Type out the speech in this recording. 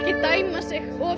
dæma sig of